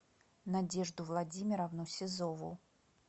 надежду владимировну сизову